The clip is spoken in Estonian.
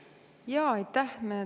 Jaa, aitäh!